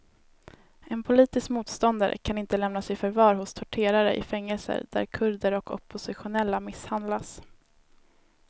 En politisk motståndare kan inte lämnas i förvar hos torterare i fängelser där kurder och oppositionella misshandlas.